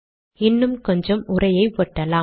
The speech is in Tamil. இன்னும் கொஞ்சம் உரையை ஒட்டலாம்